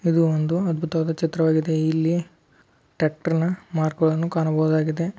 ಇದು ಒಂದು ಅದ್ಭುತವಾದ ಚಿತ್ರವಾಗಿದೆ ಇಲ್ಲಿ ಟ್ಯಾಕ್ಟರ್ನ ಮಾರ್ಕ್ಗಳನ್ನು ಕಾಣಬಹುದಾಗಿದೆ.